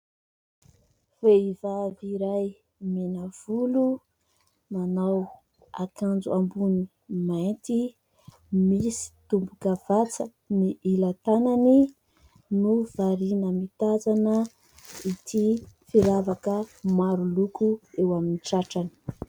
Vehivavy iray mena volo, manao akanjo ambony mainty, misy tombokavatsa ny ilan-tanany no variana mitazana ity firavaka maro loko eo amin'ny tratrany.